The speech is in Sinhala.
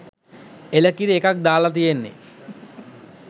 එළකිරි එකක් දාලා තියෙන්නෙ.